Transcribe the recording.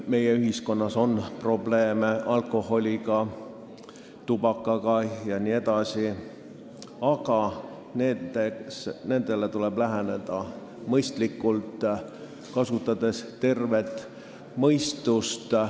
Meie ühiskonnas on probleeme alkoholiga, tubakaga jne, aga nendele tuleb läheneda mõistlikult, kasutades tervet mõistust.